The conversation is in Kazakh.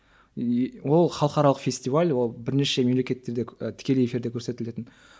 и ол халықаралық фестиваль ол бірнеше мемлекеттерде і тікелей эфирде көрсетілетін